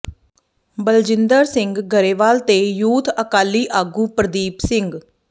ਬਲਜਿੰਦਰ ਸਿੰਘ ਗਰੇਵਾਲ ਤੇ ਯੂਥ ਅਕਾਲੀ ਆਗੂ ਪ੍ਰਦੀਪ ਸਿੰਘ